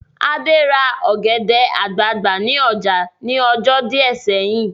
Adé ra ọ̀gẹ̀dẹ̀ àgbagbà ní ọjà ní ọjọ́ díẹ̀ sẹ́yìn